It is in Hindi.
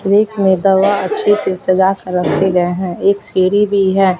और एक मैं दवा अच्छे से सजा कर रखे गए है एक सीढ़ी भी है।